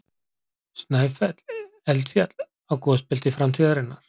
Snæfell- Eldfjall á gosbelti framtíðarinnar.